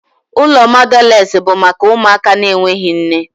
Ụlọ mọdales bụ maka ụmụaka na-enweghị nne.